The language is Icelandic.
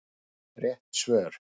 Rétt svör